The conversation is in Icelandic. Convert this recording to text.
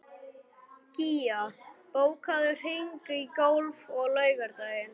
Gía, bókaðu hring í golf á laugardaginn.